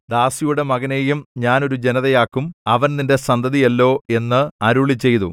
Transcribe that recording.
ദാസിയുടെ മകനെയും ഞാൻ ഒരു ജനതയാക്കും അവൻ നിന്റെ സന്തതിയല്ലോ എന്ന് അരുളിച്ചെയ്തു